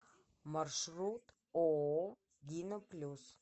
маршрут ооо дина плюс